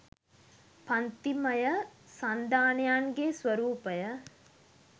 පංතිමය සන්ධානයන්ගේ ස්වරූපය